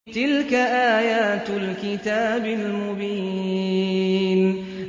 تِلْكَ آيَاتُ الْكِتَابِ الْمُبِينِ